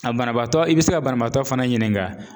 A banabaatɔ i bi se ka banabaatɔ fana ɲininka